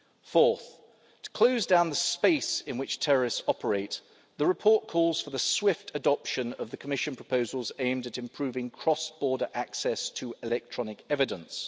year. Fourth, to close down the space in which terrorists operate, the report calls for the swift adoption of the Commission proposals aimed at improving cross border access to electronic evidence.